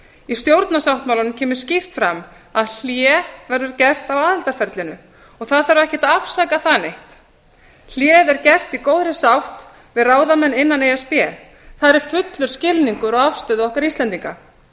í stjórnarsáttmálanum kemur skýrt fram að hlé verði gert á aðildarferlinu og það þarf ekkert að afsaka það neitt hléið er gert í góðri sátt við ráðamenn innan e s b þar er fullur skilningur á afstöðu okkar íslendinga